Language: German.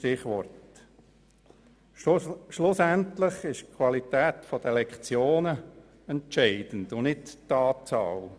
Schlussendlich ist die Qualität der Lektionen entscheidend und nicht deren Anzahl.